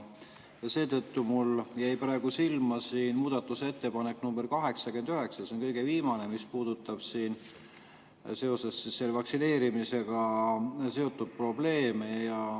Praegu jäi mulle silma muudatusettepanek nr 89, see on kõige viimane ja puudutab vaktsineerimisega seotud probleeme.